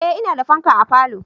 Eh ina da fanka a falo